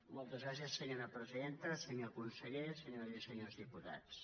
moltes gràcies senyora presidenta senyor conseller senyores i senyors diputats